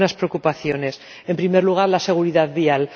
Algunas preocupaciones en primer lugar, la seguridad vial.